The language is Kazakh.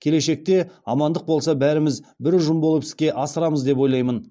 келешекте амандық болса бәріміз бір ұжым болып іске асырамыз деп ойлаймын